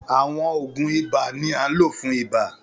Àwọn òògùn ibà ni à nlo fún ibà